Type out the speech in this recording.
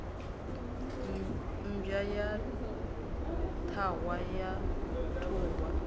mmbwa ya ṱhahwa ya ṱhuhwa